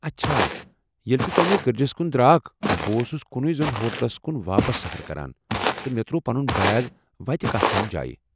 اچھا، ییٚلہ ژٕ تمہِ گرجس کُن درٛاکھ، بہٕ اوسُس کُنُے زوٚن ہوٹلس کُن واپس سفر کران ، تہٕ مےٚ ترٛوو پنُن بیگ وتہِ کتھ تام جایہ ۔